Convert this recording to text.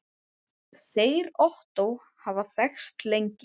Þeir Ottó hafa þekkst lengi.